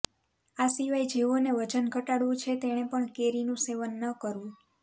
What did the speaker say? આ શિવાય જેઓ ને વજન ઘટાડવું છે તેણે પણ કેરી નું સેવન ન કરવું